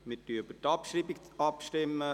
Wir stimmen über die Abschreibung ab.